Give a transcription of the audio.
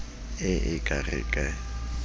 e e ka re ke